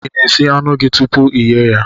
I na-esi anụ gị tupu gị eyee ya?